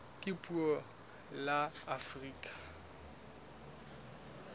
ka puo la afrika borwa